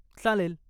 चालेल.